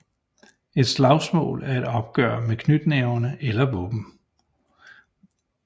Et slagsmål er et opgør med knytnæverne eller et våben